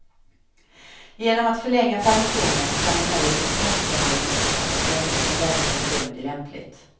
Genom att förlänga permissionen kan emellertid tvångsbehandlingen fortsätta så länge som läkaren bedömer det lämpligt.